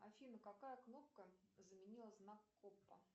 афина какая кнопка заменила знак коппа